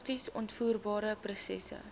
prakties uitvoerbare prosesse